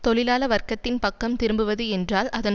தொழிலாள வர்க்கத்தின் பக்கம் திரும்புவது என்றால் அதன்